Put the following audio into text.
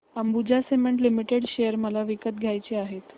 Ambuja cement limited share मला विकत घ्यायचे आहेत